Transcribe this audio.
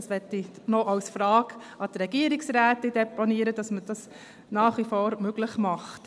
Ich möchte als Frage an die Regierungsrätin deponieren, dass man das nach wie vor möglich macht.